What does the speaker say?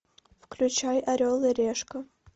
включай орел и решка